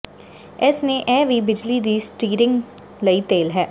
ਇਸ ਨੇ ਇਹ ਵੀ ਬਿਜਲੀ ਦੀ ਸਟੀਰਿੰਗ ਲਈ ਤੇਲ ਹੈ